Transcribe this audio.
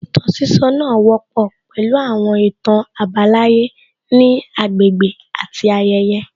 Ìtàn sísọ náà wọ́pọ̀ pẹ̀lú àwọn ìtàn àbálàyé ní agbègbè àti ayẹyẹ